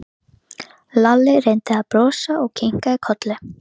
Lalli reyndi að brosa og kinkaði kolli.